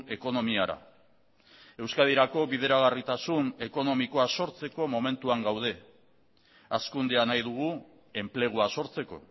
ekonomiara euskadirako bideragarritasun ekonomikoa sortzeko momentuan gaude hazkundea nahi dugu enplegua sortzeko